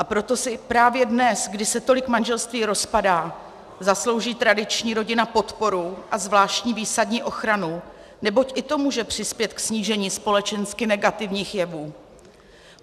A proto si právě dnes, kdy se tolik manželství rozpadá, zaslouží tradiční rodina podporu a zvláštní výsadní ochranu, neboť i to může přispět ke snížení společensky negativních jevů.